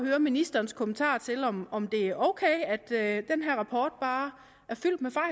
høre ministerens kommentar til om om det er ok at den her rapport bare